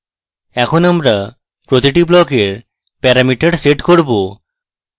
এখন আমরা প্রতিটি ব্লকের প্যারামিটার set করব